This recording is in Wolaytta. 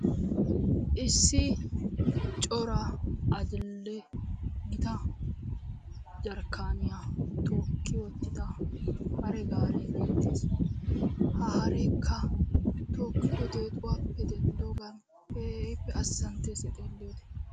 Issi cora adil''ee gita jarkaaniya tookiwottida haregaare betees. Ha hareekka tookkido deexuwappe denddogan keehippe azzanttees A xeelliyode.